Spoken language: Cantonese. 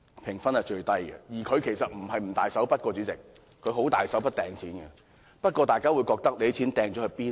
主席，財政司司長其實不是不肯"大手筆"花錢，他已經十分"大手筆"的擲錢，不過，大家會想，他的錢擲到哪裏呢？